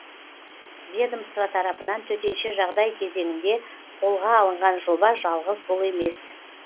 ведмоства тарапынан төтенше жағдай кезеңінде қолға алынған жоба жалғыз бұл емес